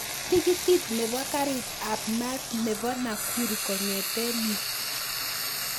Tikitit nepo karit ap maat nepo nakuru kongeten yu